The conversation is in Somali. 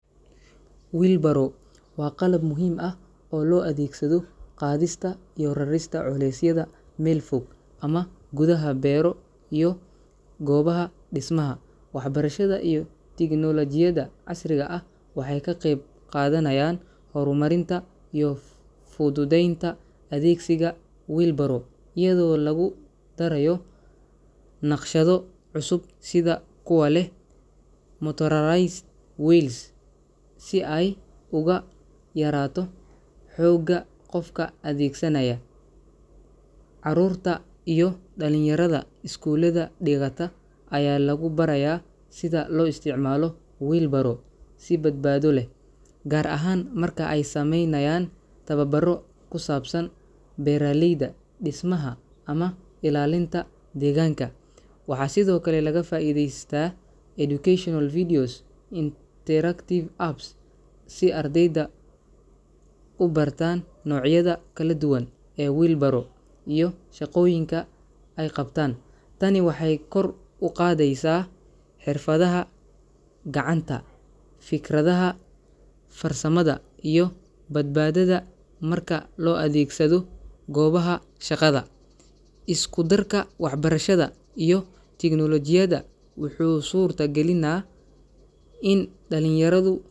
Wheelbarrow waa qalab muhiim ah oo loo adeegsado qaadista iyo rarista culeysyada meel fog ama gudaha beero iyo goobaha dhismaha. Waxbarashada iyo tiknoolajiyada casriga ah waxay ka qayb qaadanayaan horumarinta iyo u fududeynta adeegsiga wheelbarrow iyadoo lagu darayo naqshado cusub sida kuwa leh motorized wheels, si ay uga yaraato xoogga qofka adeegsanaaya. Carruurta iyo dhallinyaradha iskuullada dhigata ayaa lagu barayaa sida loo isticmaalo wheelbarrow si badbaado leh, gaar ahaan marka ay sameynayaan tababaro ku saabsan beeraleyda, dhismaha, ama ilaalinta deegaanka. Waxaa sidoo kale laga faa’iidaystaa educational videos iyo interactive apps si ardaydu u bartaan noocyadha kala duwan ee wheelbarrow iyo shaqooyinka ay qabtaan. Tani waxay kor u qaadeysaa xirfadaha gacanta, fikradhaha farsamada, iyo badbaadada marka loo adeegsado goobaha shaqada. Isku darka waxbarashadha iyo teknoolajiyada wuxuu suurta galinaa in dhalinyaradhu.